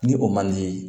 Ni o man di